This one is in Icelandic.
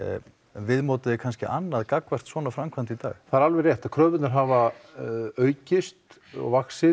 viðmótið er kannski annað gagnvart svona framkvæmd í dag alveg rétt kröfurnar hafa aukist og